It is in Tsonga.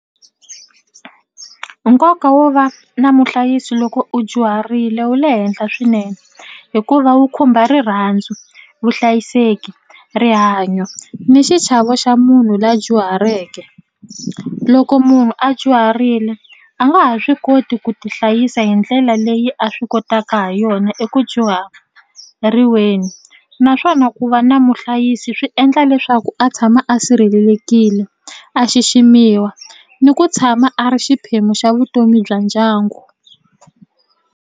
Nkoka wo va na muhlayisi loko u dyuharile wu le henhla swinene hikuva wu khumba rirhandzu, vuhlayiseki, rihanyo ni xichavo xa munhu la dyuhaleke loko munhu a dyuharile a nga ha swi koti ku ti hlayisa hi ndlela leyi a swi kotaka ha yona eku dyuhariweni naswona ku va na muhlayisi swi endla leswaku a tshama a sirhelelekile a xiximiwa ni ku tshama a ri xiphemu xa vutomi bya ndyangu.